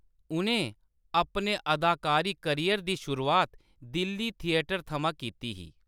उʼनें अपने अदाकारी करियर दी शुरुआत दिल्ली थिएटर थमां कीती ही।